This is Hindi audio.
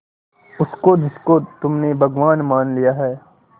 उसको जिसको तुमने भगवान मान लिया है